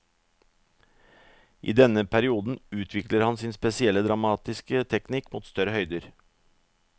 I denne perioden utvikler han sin spesielle dramatiske teknikk mot større høyder.